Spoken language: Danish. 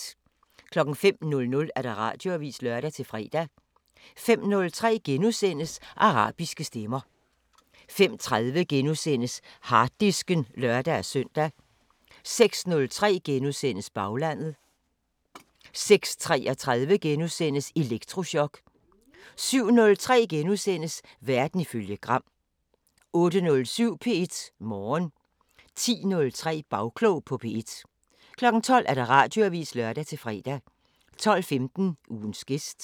05:00: Radioavisen (lør-fre) 05:03: Arabiske Stemmer * 05:30: Harddisken *(lør-søn) 06:03: Baglandet * 06:33: Elektrochok * 07:03: Verden ifølge Gram * 08:07: P1 Morgen 10:03: Bagklog på P1 12:00: Radioavisen (lør-fre) 12:15: Ugens gæst